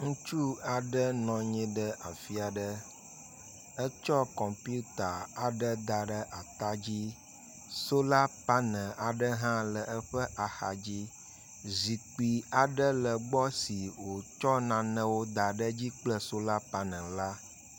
ŋutsu aɖe nɔ anyi ɖe afiaɖe. Etsɔ kɔmputa aɖe daɖe atadzi. Sola panel aɖe hã le eƒe axadzi. Zikpi aɖe legbɔ si wotsɔ nanewó daɖedzi kple solar panel la